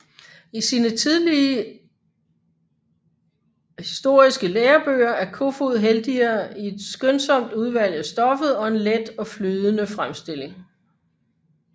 I sine historiske lærebøger er Kofod heldigere i et skønsomt udvalg af stoffet og en let og flydende fremstilling